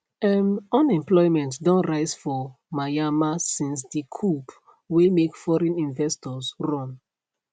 um unemployment don rise for myanmar since di coup wey make foreign investors run